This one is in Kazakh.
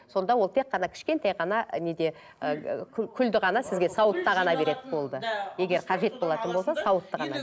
сонда ол тек қана кішкентай ғана неде ыыы күлді ғана сізге сауытта ғана береді болды егер қажет болатын болса сауытты ғана